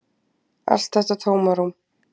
Allt þetta tómarúm.